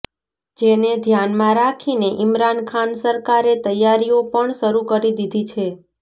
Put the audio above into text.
જેને ધ્યાનમાં રાખીને ઈમરાન ખાન સરકારે તૈયારીઓ પણ શરૂ કરી દીધી છે